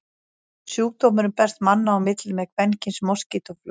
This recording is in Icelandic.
Sjúkdómurinn berst manna á milli með kvenkyns moskítóflugum.